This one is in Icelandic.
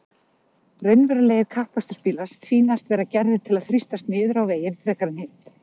Raunverulegir kappakstursbílar sýnast vera gerðir til að þrýstast niður á veginn frekar en hitt.